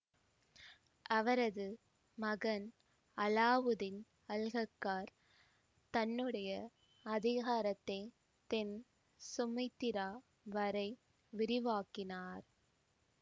அவரது மகன் அலாவுத்தீன் அல்கக்கார் தன்னுடைய அதிகாரத்தை தென் சுமித்திரா வரை விரிவாக்கினார்